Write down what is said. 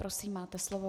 Prosím, máte slovo.